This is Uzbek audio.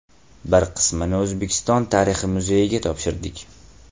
Bir qismini O‘zbekiston tarixi muzeyiga topshirdik.